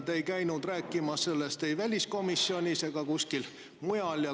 Te ei käinud sellest rääkimas ei väliskomisjonis ega kuskil mujal.